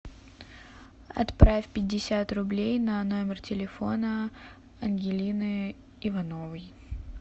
отправь пятьдесят рублей на номер телефона ангелины ивановой